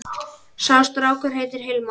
Sá strákur heitir Hilmar.